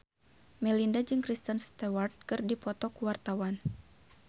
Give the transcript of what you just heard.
Melinda jeung Kristen Stewart keur dipoto ku wartawan